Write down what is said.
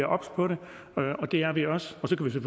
obs på det og det er vi også og så kan